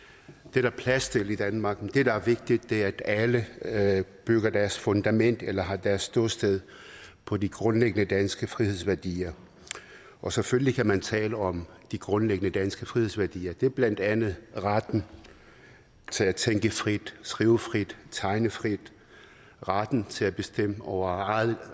der er plads til i danmark men det der er vigtigt er at alle at alle bygger deres fundament eller har deres ståsted på de grundlæggende danske frihedsværdier og selvfølgelig kan man tale om de grundlæggende danske frihedsværdier det er blandt andet retten til at tænke frit skrive frit tegne frit retten til at bestemme over eget